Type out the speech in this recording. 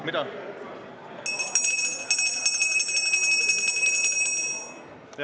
Mida?